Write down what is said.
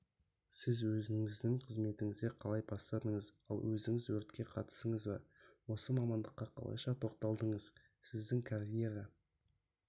сіз өзіңіздің қызметіңізді қалай бастадыңыз ал өзіңіз өрттерге қатыстыңыз ба осы мамандыққа қалайша тоқталдыңыз сіздің карьера